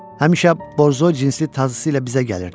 Həmişə Borzoy cinsli tazısı ilə bizə gəlirdi.